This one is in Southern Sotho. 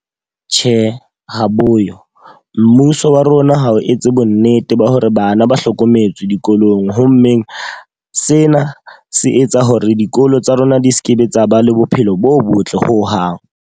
Tjhe, ha bo yo. Mmuso wa rona ha o etse bo nnete ba hore bana ba hlokometswe dikolong. Ho mmeng, sena se etsa hore dikolo tsa rona di sekebe tsa ba le bophelo bo botle ho hang.